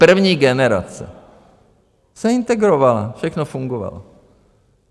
První generace se integrovala, všechno fungovalo.